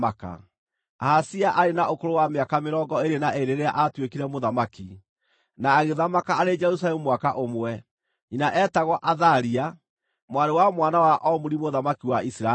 Ahazia aarĩ na ũkũrũ wa mĩaka mĩrongo ĩĩrĩ na ĩĩrĩ rĩrĩa aatuĩkire mũthamaki, na agĩthamaka arĩ Jerusalemu mwaka ũmwe. Nyina eetagwo Athalia, mwarĩ wa mwana wa Omuri mũthamaki wa Isiraeli.